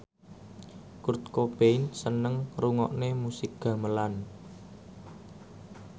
Kurt Cobain seneng ngrungokne musik gamelan